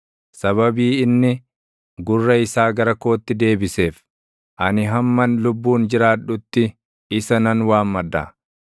Sababii inni gurra isaa gara kootti deebiseef, ani hamman lubbuun jiraadhutti isa nan waammadha.